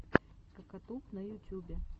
кокатуб на ютюбе